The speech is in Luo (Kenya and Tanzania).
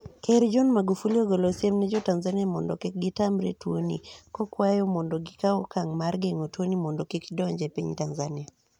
Ker John Magufuli ogolo siem ne jo Tanzania mondo kik gitamre yie tuo ni, kokwayogi mondo gikaw okang' mar geng'o mondo kik odonj e piny Tanzania.